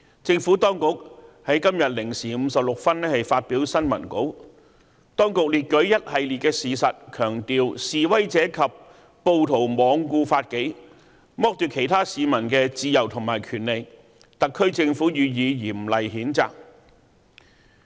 政府當局在今天0時56分發表新聞稿，列舉了一系列事實，強調"示威者及暴徒罔顧法紀，剝奪其他市民的自由和權利，特區政府予以嚴厲譴責。